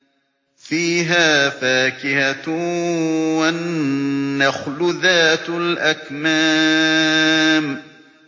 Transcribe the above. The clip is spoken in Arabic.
فِيهَا فَاكِهَةٌ وَالنَّخْلُ ذَاتُ الْأَكْمَامِ